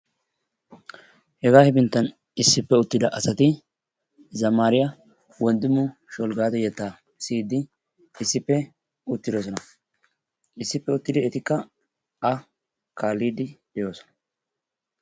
Hegaa hefinttan issippw uttira asati zammaariya Wonddimmu Shulggado yettaa siyiiddi issippe uttirosona. Issippe uttiri etikka A kaalliidde de'oosona.